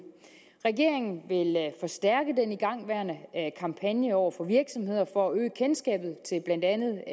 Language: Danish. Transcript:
regeringen vil forstærke den igangværende kampagne over for virksomheder for at øge kendskabet til blandt andet den